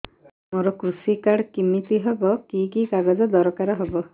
ମୋର କୃଷି କାର୍ଡ କିମିତି ହବ କି କି କାଗଜ ଦରକାର ହବ